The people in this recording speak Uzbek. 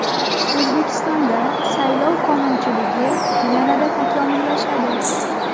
O‘zbekistonda saylov qonunchiligi yanada takomillashadi.